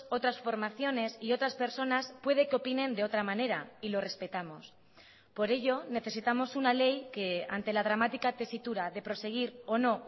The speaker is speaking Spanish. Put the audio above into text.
otras formaciones y otras personas puede que opinen de otra manera y lo respetamos por ello necesitamos una ley que ante la dramática tesitura de proseguir o no